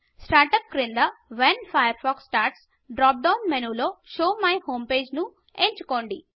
startup క్రింద when Firefox starts drop down మెనూలో show my home page ను ఎంచుకోండి